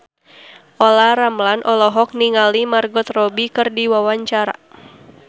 Olla Ramlan olohok ningali Margot Robbie keur diwawancara